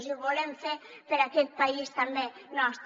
i ho volem fer per aquest país també nostre